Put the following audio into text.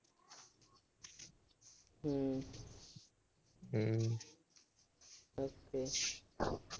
ਹੂੰ। ਅੱਛਾ।